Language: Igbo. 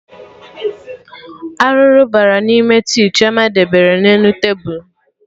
Arụrụ bara n'ime tii Chioma debere na elu tebul